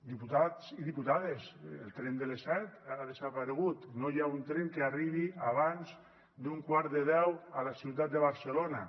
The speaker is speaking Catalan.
diputats i diputades el tren de les set ha desaparegut no hi ha un tren que arribi abans d’un quart de deu a la ciutat de barcelona